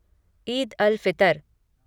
Eid al Fitr